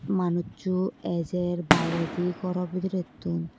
manuchu ejer biyredi goro bidirettun.